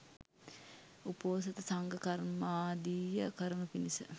උපෝසථ සංඝ කර්මාදිය කරනු පිණිස